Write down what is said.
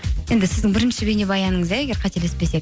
енді сіздің бірінші бейнебаяныңыз иә егер қателеспесек